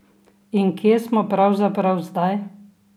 In kje smo pravzaprav zdaj?